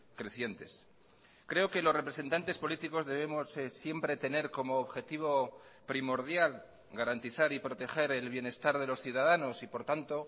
crecientes creo que los representantes políticos debemos siempre tener como objetivo primordial garantizar y proteger el bienestar de los ciudadanos y por tanto